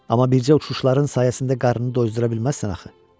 Amma bircə uçuşların sayəsində qarnını dozdura bilməzsən axı.